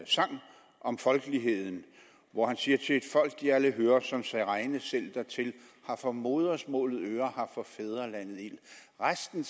sang om folkeligheden hvori han siger til et folk de alle hører som sig regne selv dertil har for modersmålet øre har for fædrelandet ild resten